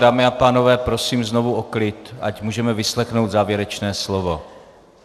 Dámy a pánové, prosím znovu o klid, ať můžeme vyslechnout závěrečné slovo.